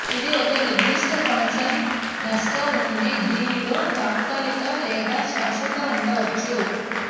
ఇది ఒక నిర్దిష్ట ఫంక్షన్ నష్టం ఉంది దీనిలో తాత్కాలిక లేదా శాశ్వత ఉండవచ్చు